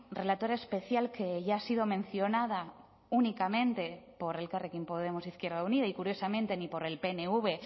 relatora especial que ya ha sido mencionada únicamente por elkarrekin podemos izquierda unida y curiosamente ni por el pnv